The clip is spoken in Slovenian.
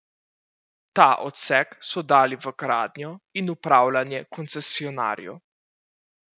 Ta odsek so dali v gradnjo in upravljanje koncesionarju.